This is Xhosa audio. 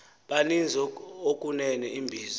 banzi okunene imbizo